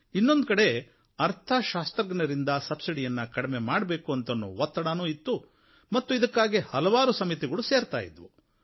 ಇನ್ನೊಂದು ಕಡೆ ಅರ್ಥಶಾಸ್ತ್ರಜ್ಞರಿಂದ ಸಬ್ಸಿಡಿಯನ್ನು ಕಡಿಮೆ ಮಾಡಬೇಕು ಅಂತನ್ನೋ ಒತ್ತಡವೂ ಇತ್ತು ಮತ್ತು ಇದಕ್ಕಾಗಿ ಹಲವಾರು ಸಮಿತಿಗಳು ಸೇರ್ತಾ ಇದ್ವು